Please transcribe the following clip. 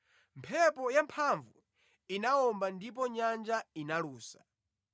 Mphepo yamphamvu inawomba ndipo nyanja inalusa.